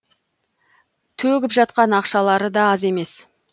төгіп жатқан ақшалары да аз емес